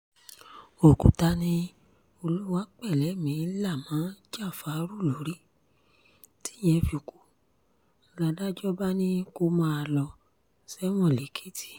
òkúta ní olúwapẹ́lẹ́mì la mọ jáfárù lórí tíyẹn fi kú ládàjọ́ bá ní kó máa lọ sẹ́wọ̀n lékétì